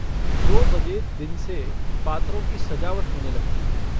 दो बजे दिन से पात्रों की सजावट होने लगती थी।